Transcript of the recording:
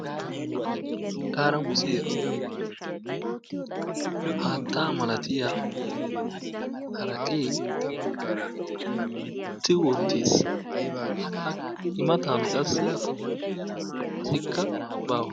Xaaramusiyan haattaa malatiya haraqee tigetti wottis. I matan qassi asikka baawa.